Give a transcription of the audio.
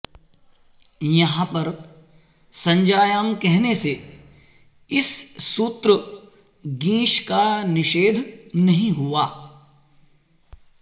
यहाँ पर संज्ञायाम् कहने से इस सूत्र ङीष् का निषेध नहीं हुआ